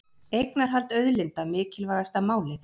Eignarhald auðlinda mikilvægasta málið